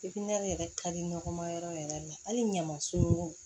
yɛrɛ ka di nɔgɔ ma yɔrɔ yɛrɛ la hali ɲamaso